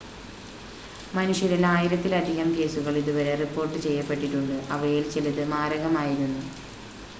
മനുഷ്യരിൽ ആയിരത്തിലധികം കേസുകൾ ഇതുവരെ റിപ്പോർട്ട് ചെയ്യപ്പെട്ടിട്ടുണ്ട് അവയിൽ ചിലത് മാരകമായിരുന്നു